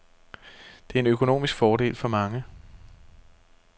Det er en økonomisk fordel for mange.